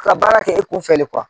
Ka baara kɛ e kɔ fɛ le